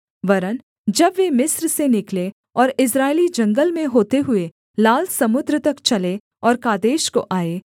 वरन् जब वे मिस्र से निकले और इस्राएली जंगल में होते हुए लाल समुद्र तक चले और कादेश को आए